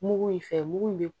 Mugu in fɛ mugu in bɛ